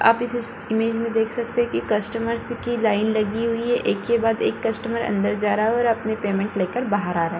आप इस इमेज मे देख सकते है की कस्टमर्स की लाइन लगी हुई है। एक के बाद एक कस्टमर अन्दर जा रहा है और अपनी पेमेंट लेकर बाहर आ रहा है।